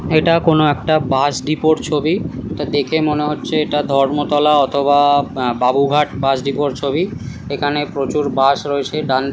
এটা কোন একটা বাস ডিপোর ছবি। এটা দেখে মনে হচ্ছে এটা ধর্মতলা অথবা-আ আ বাবুঘাট বাস ডিপোর ছবি। এখানে প্রচুর বাস রয়েছে ডান --